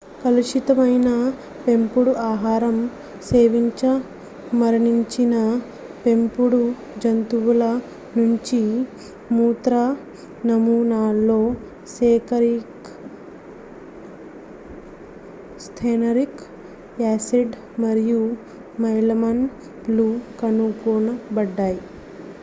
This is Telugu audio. కలుషితమైన పెంపుడు ఆహారం సేవించిమరణించిన పెంపుడు జంతువుల నుంచి మూత్ర నమూనాల్లో సైనరిక్ యాసిడ్ మరియు మెలమైన్ లు కనుగొనబడ్డాయి